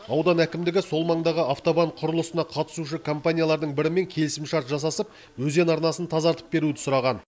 аудан әкімдігі сол маңдағы автобан құрылысына қатысушы компаниялардың бірімен келісімшарт жасасып өзен арнасын тазартып беруді сұраған